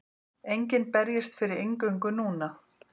Enginn berjist fyrir inngöngu núna.